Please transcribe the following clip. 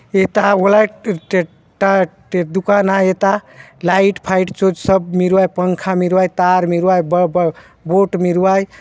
ये दुकान आय एता लाइट फाइट चो सब मिरुवाए पंखा मिरुवाय तार मिरुवाय ब ब बुट मिरुआय।